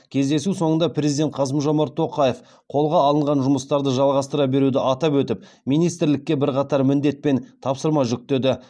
кездесу соңында президент қасым жомарт тоқаев қолға алынған жұмыстарды жалғастыра беруді атап өтіп министрлікке бірқатар міндет пен тапсырма жүктеді